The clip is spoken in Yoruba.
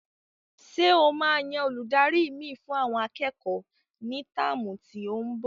Ṣé e máa yan Olùdarí mi fún àwọn akẹ́kọ̀ọ́ ní táàmù tí óún bo?